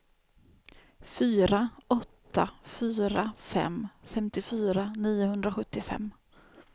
fyra åtta fyra fem femtiofyra niohundrasjuttiofem